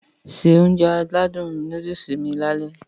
Se Ounjẹ aládùn nóódùsì mi lálẹ́